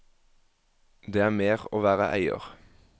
Det er mer å være eier.